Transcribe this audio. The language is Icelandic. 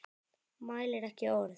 Mælir ekki orð.